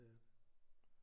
Det er det